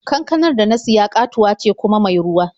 Kankanar da na siya ƙatuwa ce kuma mai ruwa.